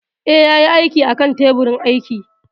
Eh, ya yi aikin a kan teburin aiki